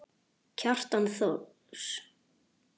Kjartan Thors.